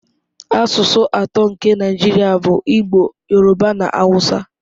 Asụsụ atọ nke Naijiria bụ Igbo, Yoruba na Hausa.